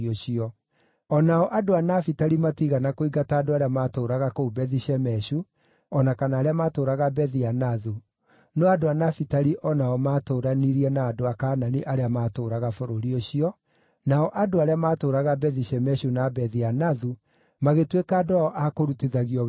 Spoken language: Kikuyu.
O nao andũ a Nafitali matiigana kũingata andũ arĩa maatũũraga kũu Bethi-Shemeshu, o na kana arĩa maatũũraga Bethi-Anathu; no andũ a Nafitali o nao maatũũranirie na andũ a Kaanani arĩa maatũũraga bũrũri ũcio, nao andũ arĩa maatũũraga Bethi-Shemeshu na Bethi-Anathu magĩtuĩka andũ ao a kũrutithagio wĩra wa hinya.